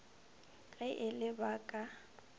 ge e le ba ka